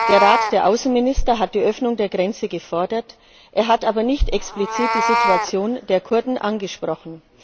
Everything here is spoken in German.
Der Rat der Außenminister hat die Öffnung der Grenze gefordert, er hat aber nicht explizit die Situation der Kurden angesprochen.